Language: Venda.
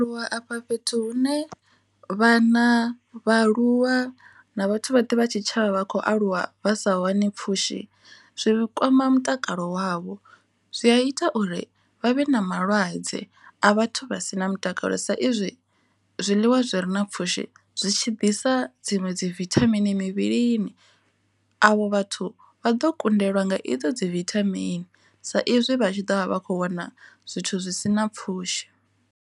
Lwa afha fhethu hune vhana, vhaaluwa na vhathu vhoṱhe vha tshitshavha vha khou aluwa vha sa wani pfhushi zwi kwama mutakalo wavho zwi a ita uri vha vhe na malwadze a vhathu vha si na mutakalo sa izwi zwiḽiwa zwi re na pfhushi zwitshi ḓisea dziṅwe dzi vithamini mivhilini, avho vhathu vha ḓo kundelwa nga i ḓo dzi vithamini sa izwi vha tshi ḓo vha vha kho wana zwithu zwi si na pfhushi.